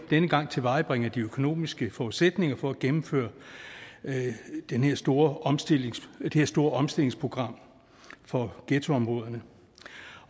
denne gang tilvejebringer de økonomiske forudsætninger for at gennemføre det her store omstillingsprogram store omstillingsprogram for ghettoområderne